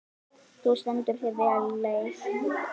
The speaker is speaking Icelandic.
Þú stendur þig vel, Leif!